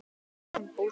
Þau slitu sambúð.